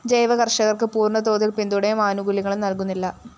ജൈവ കര്‍ഷകര്‍ക്ക് പൂര്‍ണ തോതില്‍ പിന്തുണയും ആനുകൂല്യങ്ങളും നല്‍കുന്നില്ല